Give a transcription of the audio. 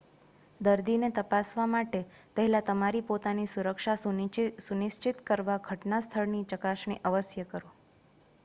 દર્દીને તપાસવા માટે પહેલા તમારી પોતાની સુરક્ષા સુનિશ્ચિત કરવા ઘટના સ્થળની ચકાસણી અવશ્ય કરો